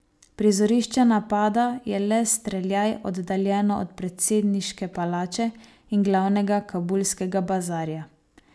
Prizorišče napada je le streljaj oddaljeno od predsedniške palače in glavnega kabulskega bazarja.